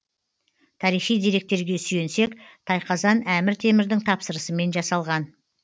тарихи деректерге сүйенсек тайқазан әмір темірдің тапсырысымен жасалған